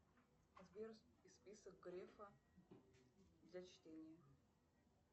сбер список грефа для чтения